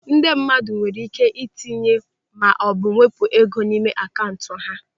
Ndị mmadụ nwere ike itinye maọbụ wepụ ego n'ime akaụntụ ha.